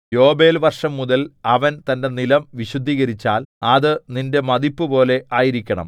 യോബേൽവർഷംമുതൽ അവൻ തന്റെ നിലം വിശുദ്ധീകരിച്ചാൽ അത് നിന്റെ മതിപ്പുപോലെ ആയിരിക്കണം